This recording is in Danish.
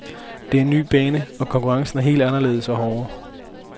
Det er en ny bane, og konkurrencen er helt anderledes og hårdere.